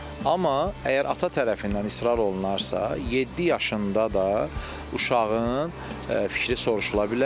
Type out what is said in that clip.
Amma əgər ata tərəfindən israr olunarsa, yeddi yaşında da uşağın fikri soruşula bilər.